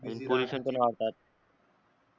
pollution पण वाढतात